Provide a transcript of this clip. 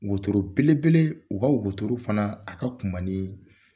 Wotoro belebele u ka wotro fana a ka kunba ni